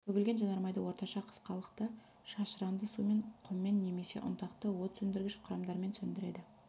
төгілген жанармайды орташа қысқалықты шашыранды сумен құммен немесе ұнтақты от сөндіргіш құрамдармен сөндіреді